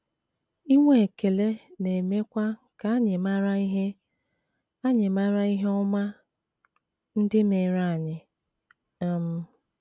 Inwe ekele na - emekwa ka anyị mara ihe anyị mara ihe ọma ndị meere anyị. um